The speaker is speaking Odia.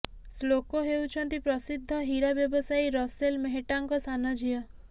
ଶ୍ଲୋକ ହେଉଛନ୍ତି ପ୍ରସିଦ୍ଧ ହୀରା ବ୍ୟବସାୟୀ ରସେଲ ମେହଟ୍ଟାଙ୍କ ସାନ ଝିଅ